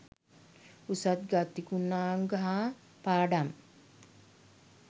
උසස් ගතිගුණාංග හා පාඩම්